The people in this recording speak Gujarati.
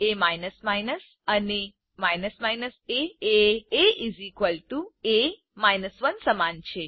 એ અને a એ એ એ 1 સમાન છે